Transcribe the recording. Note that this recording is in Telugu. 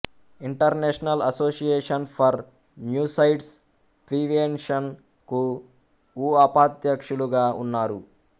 international association for suicides prevention కు ఉఅపధ్యక్షులుగా ఉన్నారు